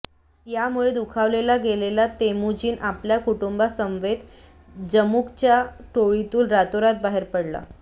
यामुळे दुखावलेला गेलेला तेमुजीन आपल्या कुटुंबासमवेत जमुगाच्या टोळीतून रातोरात बाहेर पडला